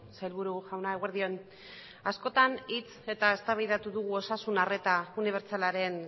sailburu jauna eguerdi on askotan hitz eta eztabaidatu dugu osasun arreta unibertsalaren